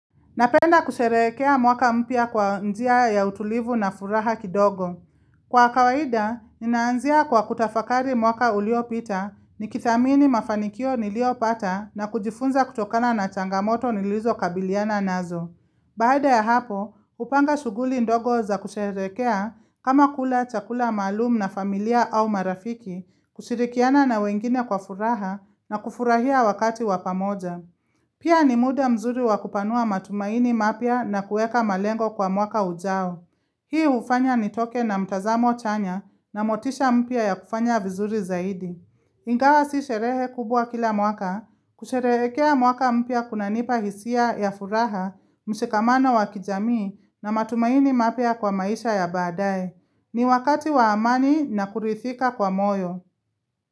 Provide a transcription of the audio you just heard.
Napenda kusherekea mwaka mpya kwa njia ya utulivu na furaha kidogo. Kwa kawaida, ninaanzia kwa kutafakari mwaka uliopita nikithamini mafanikio niliopata na kujifunza kutokana na changamoto nilizokabiliana nazo. Baada ya hapo, hupanga shughuli ndogo za kusherekea kama kula chakula maalum na familia au marafiki kushirikiana na wengine kwa furaha na kufurahia wakati wa pamoja. Pia ni muda mzuri wakupanua matumaini mapya na kuweka malengo kwa mwaka ujao. Hii hufanya nitoke na mtazamo chanya na motisha mpya ya kufanya vizuri zaidi. Ingawa si sherehe kubwa kila mwaka. Kusherekea mwaka mpya kunanipa hisia ya furaha, mshikamano wa kijamii na matumaini mapya kwa maisha ya baadae. Ni wakati wa amani na kuridhika kwa moyo.